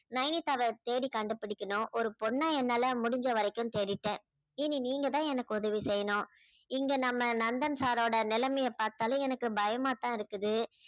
நைனிக்காவ தேடி கண்டு பிடிக்கணும் ஒரு பொண்ண என்னால முடிஞ்ச வரைக்கும் தேடிட்டேன் இனி நீங்கதான் எனக்கு உதவி செய்யணும் இங்க நம்ம நந்தன் சாரோட நிலைமைய பாத்தாலே எனக்கு பயமாத்தான் இருக்குது